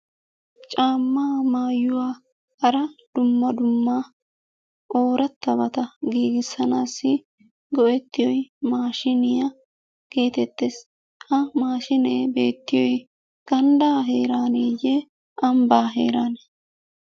Caammaa maayuwa hara dumma dumma oorattabata giigisanaassi go"ettiyoy maashiiniyaa geetettees. Ha maashiinee beettiyoy ganddaa heeraaneeye ambbaa heeraanee?